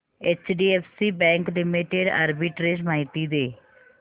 HDFC bank limited arbitrage माहिती दे